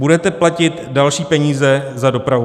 Budete platit další peníze za dopravu.